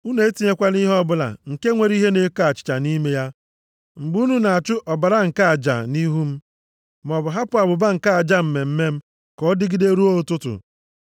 “Unu etinyekwala ihe ọbụla nke nwere ihe na-eko achịcha nʼime ya, mgbe unu na-achụ ọbara nke aja nʼihu m. “Maọbụ hapụ abụba nke aja mmemme m ka ọ dịgide ruo ụtụtụ. + 23:18 Ya bụ chi ọbụbọ